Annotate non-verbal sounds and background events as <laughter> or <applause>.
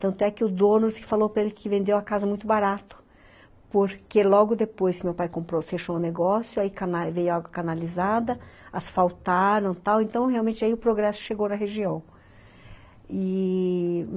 Tanto é que o dono falou para ele que vendeu a casa muito barato, porque logo depois que meu pai fechou o negócio <unintelligible> aí veio a água canalizada, asfaltaram e tal, então realmente aí o progresso chegou na região e...